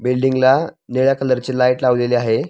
बिल्डींगला निळ्या कलरची लाईट लावलेली आहे.